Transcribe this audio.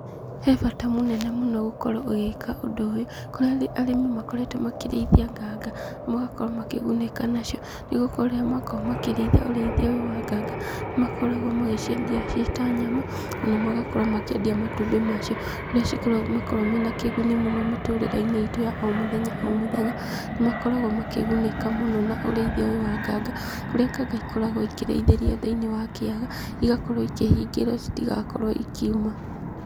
He bata mũnene mũno gũkorwo ũgĩka ũndũ ũyũ, kũrĩa arĩmi makoretwo makĩrĩithia nganga, magakorwo makĩgunĩka nacio, nĩgũkorwo rĩrĩa makoragwo makĩrĩithia ũrĩithia ũyũ wa nganga, nĩ makoragwo magĩciendia ciĩ ta nyama, ona magakorwo makĩendia matumbĩ ma cio, kũrĩa makoragwo mena kĩguni mũno mĩtũrĩre-inĩ itũ ya o mũthenya o mũthenya, nĩ makoragwo makĩgunĩka mũno na ũrĩithia ũyũ wa nganga, kũrĩa nganga ikoragwo ikĩrĩithĩrio thĩinĩ wa kĩaga, igakorwo ikĩhingĩrwo citigakorwo ikĩuma.